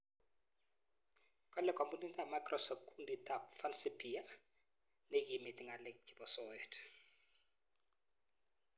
kale kampunit ab Microsoft kundit ab "Fancy Bear " neikimiti ng'alek chebo soet